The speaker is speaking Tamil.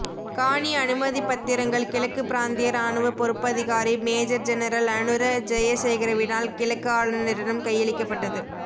காணி அனுமதிப்பத்திரங்கள் கிழக்குப் பிராந்திய இராணுவ பொறுப்பதிகாரி மேஜர் ஜெனரல் அனுர ஜெயசேகரவினால் கிழக்கு ஆளுநரிடம் கையளிக்கப்பட்டது